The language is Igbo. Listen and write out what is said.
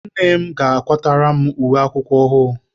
Nne m ga-akwara m uwe akwụkwọ ọhụụ.